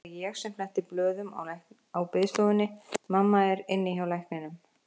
Nú er það ég sem fletti blöðum á biðstofunni, mamma er inni hjá lækninum.